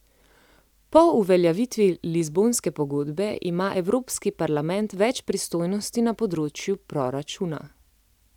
Po uveljavitvi lizbonske pogodbe ima evropski parlament več pristojnosti na področju proračuna.